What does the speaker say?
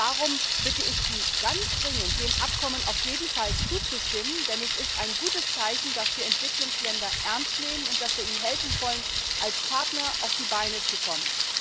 Darum bitte ich Sie ganz dringend, dem Abkommen auf jeden Fall zuzustimmen, denn es ist ein gutes Zeichen, dass wir Entwicklungsländer ernst nehmen und dass wir ihnen helfen wollen als Partner auf die Beine zu kommen!